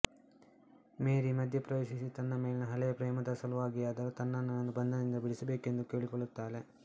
ಮೇರಿ ಮಧ್ಯೆ ಪ್ರವೇಶಿಸಿ ತನ್ನ ಮೇಲಿನ ಹಳೆಯ ಪ್ರೇಮದ ಸಲುವಾಗಿಯಾದರೂ ತನ್ನಣ್ಣನನ್ನು ಬಂಧನದಿಂದ ಬಿಡಿಸಬೇಕೆಂದು ಬೇಡಿಕೊಳ್ಳುತ್ತಾಳೆ